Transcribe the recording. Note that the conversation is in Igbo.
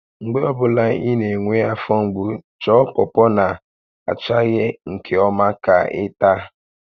Mgbe ọ bụla ị na-enwe afọ mgbu, chọọ pọpọ na achaghị nke ọma ka ị taa